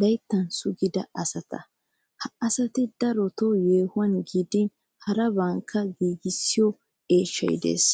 laytta sugida asata. Ha satin daroton yohuwaa giidin harabatakka giigissiyoo eeshshay de'ees.